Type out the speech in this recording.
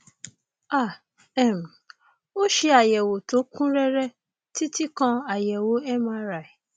a um ó ṣe àyẹwò tó kún rẹrẹ títí kan àyẹwò mri